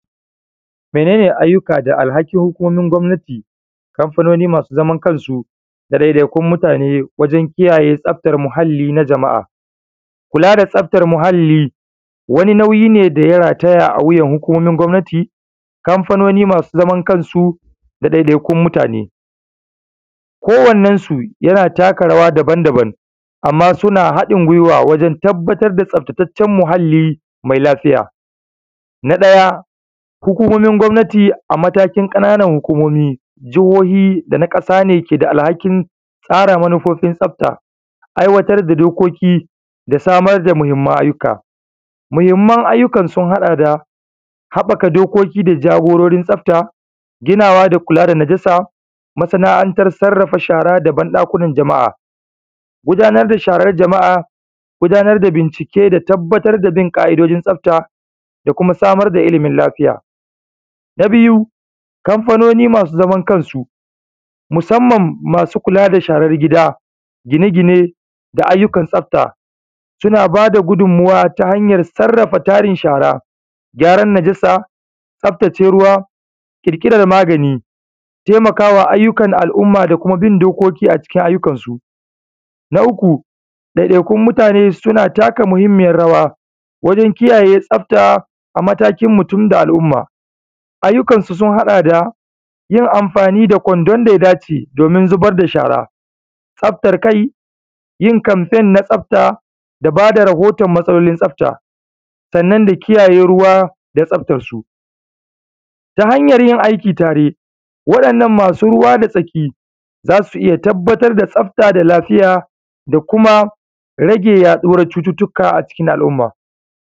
Mene ne ayyuka da alhakin hukumomin gwamnati, kamfanoni masu zaman kansu da ɗaiɗai kun mutane wajen kiyaye tsaftar muhali na jama’a? kula da tsaftar muhali wani nauyi ne daya rataya awuyan hukumomin gwamnati, kamfanoni masu zaman kansu da ɗaiɗaikun mutane ko wane su yana taka rawa daban daban amma suna haɗin gwiwa wajen tabbatar da tsafta tacen muhali mai lafiya, na ɗaya hukumomin gwamnati amatakin hukumomi jahohi dana ƙasa ne ke da alhakin tsara manufofin tsafta aiwatar da dokokin da samar da muhimman ayyuka, muhimman ayyuka sun haɗa da haɓaka jagororin tsafta ginawa da najasa masana’antar sarrafa shara da banɗakunan jama’a, gudanar da sharan jama’a gudanar da bincike domin tabbatar da bin ƙa’idojin tsafta da kuma samar da ilimin lafiya, na biyu kamfanoni masu zaman kansu musamman masu kula da sharar gida gina-gine da ayyukan tsafta, suna bada gudumuwa ta hanyar sarrafa tarin shara gyaran najasa tsaftace ruwa kirkiran magani, taimakama ayyukan al’umma da kuma bin dokokin a cikin ayyukansu, na uku ɗaiɗai kun mutane suna taka muhimmiyar rawa wajen kiyaye tsafta a matakin mutum da al’umma, ayyukansu sun haɗa da yin amfani da kwandon da ya dace, domin zubar da shara tsaftar kai yin kamfain na tsaftar da bada rahoto matsalolin tsafta sannan da kiyaye ruwa da tsaftarsu ta hanyar yin aiki tare waɗannan masu ruwa da tsaki zasu iya tabbatar da tsaftar da lafiya da kuma rage yaɗuwar cututuka a cikin al’umma.